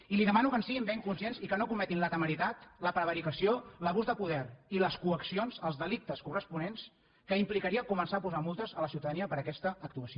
i li demano que en siguin ben conscients i que no cometin la temeritat la prevaricació l’abús de poder i les coaccions els delictes corresponents que implicaria començar a posar multes a la ciutadania per aquesta actuació